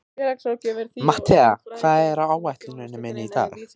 Mattea, hvað er á áætluninni minni í dag?